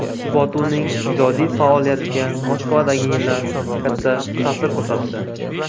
Botuning ijodiy faoliyatiga Moskvadagi yillar katta ta’sir ko‘rsatdi.